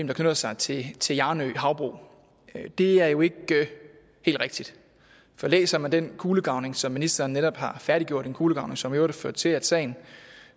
der knytter sig til til hjarnø havbrug as det er jo ikke helt rigtigt for læser man den kulegravning som ministeren netop har færdiggjort en kulegravning som i øvrigt har ført til at sagen